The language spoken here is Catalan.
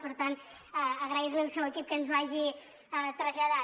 per tant agrair li al seu equip que ens ho hagi traslladat